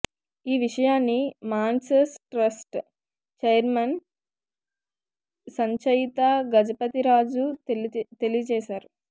ఈ విషయాన్ని Mansas trust chairman Sanchaita Gajapathiraju తెలియజేశారు